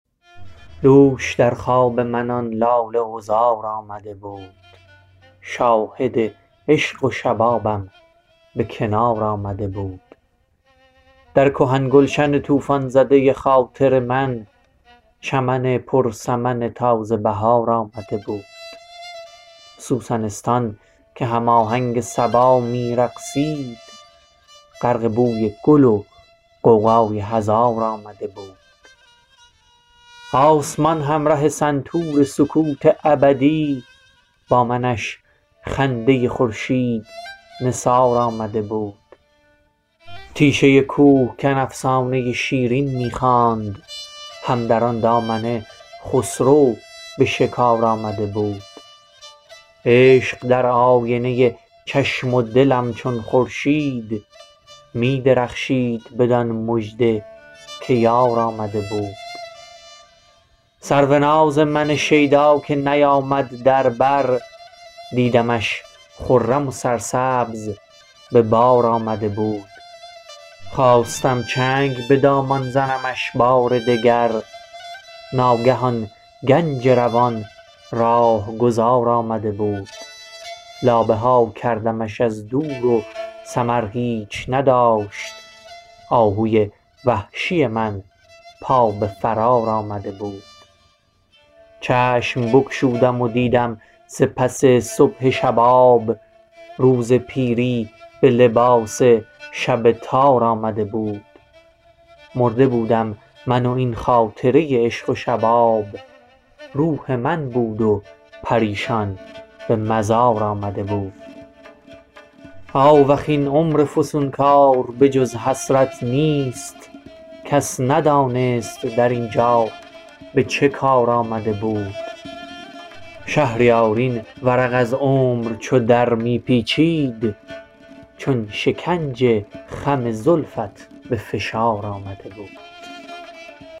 دوش در خواب من آن لاله عذار آمده بود شاهد عشق و شبابم به کنار آمده بود در کهن گلشن طوفان زده خاطر من چمن پر سمن تازه بهار آمده بود سوسنستان که هم آهنگ صبا می رقصید غرق بوی گل و غوغای هزار آمده بود آسمان همره سنتور سکوت ابدی با منش خنده خورشید نثار آمده بود هر چمن صحنه ای از عشق و وفا لیک از من صحنه بیش از همه پرنقش و نگار آمده بود تیشه کوهکن افسانه شیرین می خواند هم در آن دامنه خسرو به شکار آمده بود رد پایی مگر از لیلی و کم کم مجنون ناخودآگاه سوی یار و دیار آمده بود سرو ناز من شیدا که نیامد در بر دیدمش خرم و سرسبز به بار آمده بود خواستم چنگ به دامان زنمش بار دگر ناگه آن گنج روان راهگذار آمده بود لابه ها کردمش از دور و ثمر هیچ نداشت آهوی وحشی من پا به فرار آمده بود یوسفی بود و زلیخا و همان توسن عشق کز نهیب ملک العرش مهار آمده بود چشم بگشودم و دیدم ز پس صبح شباب روز پیری به لباس شب تار آمده بود مرده بودم من و این خاطره عشق و شباب روح من بود و پریشان به مزار آمده بود آوخ این عمر فسونکار به جز حسرت نیست کس ندانست در اینجا به چه کار آمده بود شهریار این ورق از عمر چو درمی پیچید چون شکنج خم زلفت به فشار آمده بود